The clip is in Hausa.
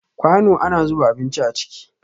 Kwano ana zuba abinci a ciki